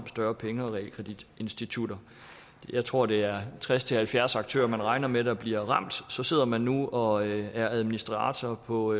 større penge og realkreditinstitutter jeg tror at det er tres til halvfjerds aktører man regner med der bliver ramt så sidder man nu og er administrator på